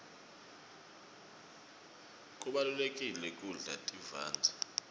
kubalulekile kudla tivandze